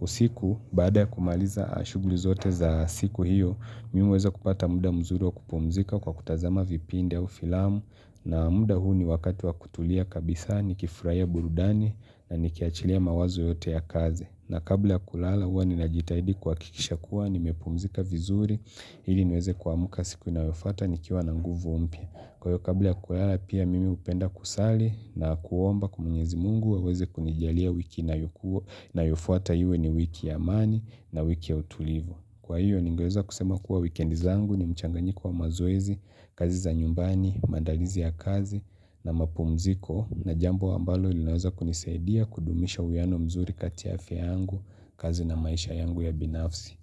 Usiku baada ya kumaliza shughuli zote za siku hiyo, mimi huweza kupata muda mzuri wa kupumzika kwa kutazama vipinde au filamu na muda huu ni wakati wa kutulia kabisa nikifurahia burudani na nikiachilia mawazo yote ya kazi. Na kabla ya kulala huwa ninajitahidi kuhakikisha kuwa nimepumzika vizuri ili niweze kuamuka siku inayofuata nikiwa na nguvu mpya. Kwa hiyo kabla ya kulala pia mimi upenda kusali na kuomba kwa mwenyezi mungu aweze kunijalia wiki ina yukuo nayofuata iwe ni wiki ya amani na wiki ya utulivu. Kwa hiyo, ningeweza kusema kuwa wikendi zangu ni mchanganyiko wa mazoezi, kazi za nyumbani, maandalizi ya kazi na mapumziko na jambo ambalo linaweza kunisaidia kudumisha uwiano mzuri kati ya afya yangu, kazi na maisha yangu ya binafsi.